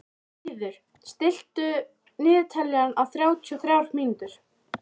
Fríður, stilltu niðurteljara á þrjátíu og þrjár mínútur.